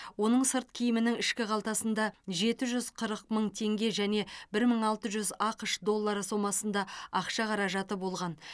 оның сырт киімінің ішкі қалтасында жеті жүз қырық мың теңге және бір мың алты жүз ақш доллары сомасында ақша қаражаты болған